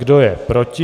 Kdo je proti?